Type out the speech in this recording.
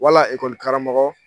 Wala karamɔgɔ